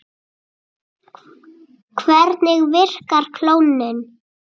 Hvernig virkar klónun?